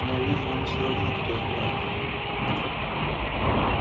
но я вижу вам всё равно кто их враг